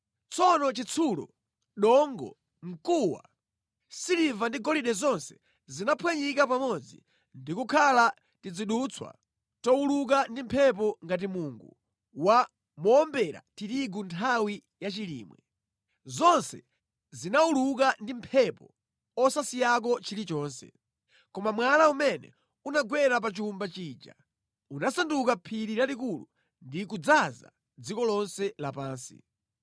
Tsono chitsulo, dongo, mkuwa, siliva ndi golide zonse zinaphwanyika pamodzi ndikukhala tizidutswa towuluka ndi mphepo ngati mungu wa mowombera tirigu nthawi ya chilimwe. Zonse zinawuluka ndi mphepo osasiyako chilichonse. Koma mwala umene unagwera pa chowumba chija unasanduka phiri lalikulu ndi kudzaza dziko lonse lapansi.